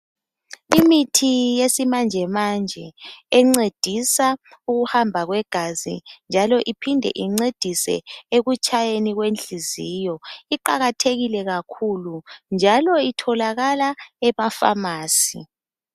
imithi yesimanjemanje encedisa ukuhamba kwegazi njalo iphinde incedise ekutshayeni kwenhliziyo iqakahekile kakhulu njalo itholakala ema phamarcy